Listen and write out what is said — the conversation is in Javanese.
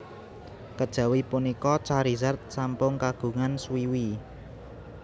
Kejawi punika Charizard sampun kagungan swiwi